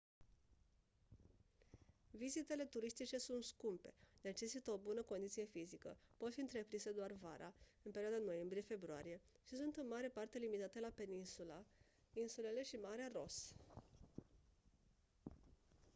vizitele turistice sunt scumpe necesită o bună condiție fizică pot fi întreprinse doar vara în perioada noiembrie februarie și sunt în mare parte limitate la peninsula insulele și marea ross